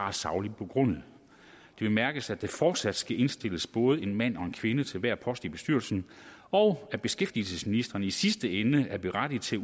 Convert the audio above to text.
er sagligt begrundet det bemærkes at der fortsat skal indstilles både en mand og en kvinde til hver post i bestyrelsen og at beskæftigelsesministeren i sidste ende er berettiget til